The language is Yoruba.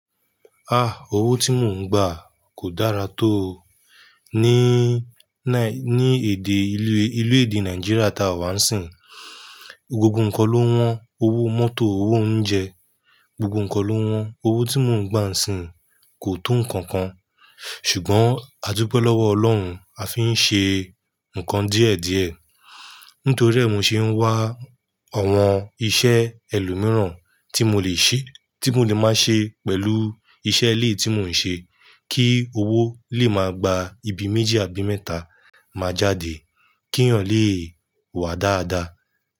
Ah! Owó tí mò ń gbà kò dára tó ni, ní èdè ilé, ilé èdè Nigeria tá wà ń sìn. Gbogbo ǹkan ló wọ́n, owó mọ́tò, owó oúnjẹ, gbogbo ǹkan ló wọ́n. Owó tí mò ń gbà ń sìn kò tó nǹkan kan. Ṣùgbọ́n àdúpe lọ́wọ́ ọlọ́run, a fi ń ṣe nǹkan díẹ̀díẹ̀. Nítorí e mo ṣe ń wá àwọn iṣẹ́ ẹlòmíràn tí mo le ṣe, tí mo le máa ṣe pẹ̀lú iṣẹ́ ilé tí mò ń ṣe kí owó lè máa gba ibi méjì àbí mẹ́ta, máa jáde, kíyan lè wà dáadáa.